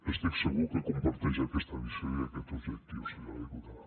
estic segur que comparteix aquesta visió i aquest objectiu senyora diputada